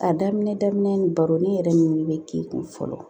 A daminɛ daminɛ ni baro ni yɛrɛ min bɛ k'i kun fɔlɔ